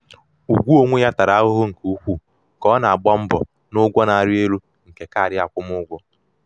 ugwu onwe ya tara ahụhụ nke ukwuu ka ọ na-agba mbọ n´ụgwọ na-arị elu nke kaadị akwụmụgwọ.